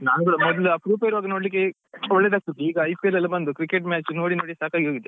ನಾನ್ ಕೂಡ ಮೊದ್ಲು ಅಪ್ರೂಪ ಇರುವಾಗ ನೋಡ್ಲಿಕ್ಕೆ ಒಳ್ಳೇದಾಗ್ತಿತ್ತು ಈಗ IPL ಎಲ್ಲ ಬಂದು cricket match ನೋಡಿ ನೋಡಿ ಸಾಕಾಗಿ ಹೋಗಿದೆ.